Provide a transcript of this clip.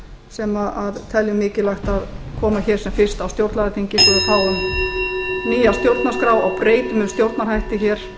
sem teljum mikilvægt að koma hér sem fyrst á stjórnlagaþingi svo við fáum nýja stjórnarskrá